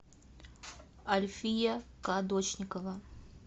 альфия кадочникова